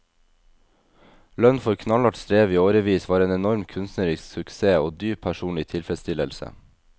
Lønn for knallhardt strev i årevis var en enorm kunstnerisk suksess og dyp personlig tilfredsstillelse.